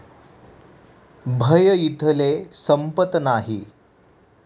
भय इथले संपत नाही!